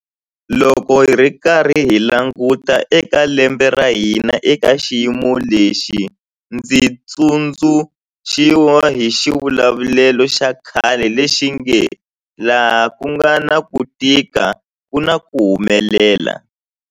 Loko hi karhi hi languta eka lembe ra hina eka xiyimo lexi, ndzi tsundzuxiwa hi xivulavulelo xa khale lexi nge 'laha ku nga na ku tika ku na ku humelela'.